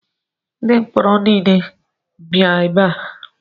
Ndi mkpọrọ niile bịa ebe a!